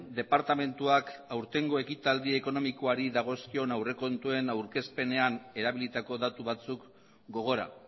departamentuak aurtengo ekitaldi ekonomikoari dagozkion aurrekontuen aurkezpenean erabilitako datu batzuk gogora